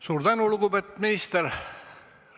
Suur tänu, lugupeetud minister!